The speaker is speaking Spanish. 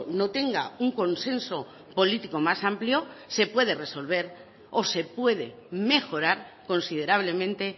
no tenga un consenso político más amplio se puede resolver o se puede mejorar considerablemente